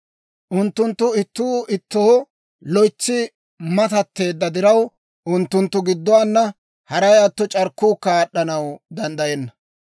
Unttunttu ittuu ittoo loytsi matatteedda diraw, unttunttu gidduwaanna, haray atto, c'arkkuukka aad'd'anaw danddayenna.